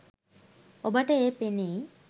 ඔබට එය පෙනෙයි